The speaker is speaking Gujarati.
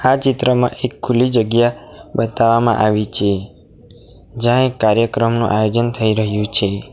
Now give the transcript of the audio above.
આ ચિત્રમાં એક ખુલ્લી જગ્યા બતાવવામાં આવી છે જ્યાં એક કાર્યક્રમનું આયોજન થઈ રહ્યું છે.